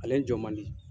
Ale jɔ man di